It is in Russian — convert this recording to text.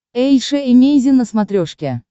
эйша эмейзин на смотрешке